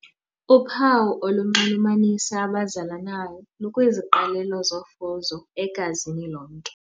Uphawu olunxulumanisa abazalanayo lukwiziqalelo zofuzo egazini lomntu.